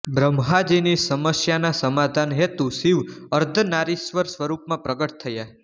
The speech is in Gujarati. બ્રહ્માજીની સમસ્યાના સમાધાન હેતુ શિવ અર્ધનારીશ્વર સ્વરૂપમાં પ્રગટ થયા